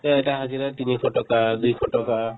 এতিয়া এটা হাজিৰা তিনিশ টকা দুইশ টকা